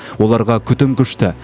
оларға күтім күшті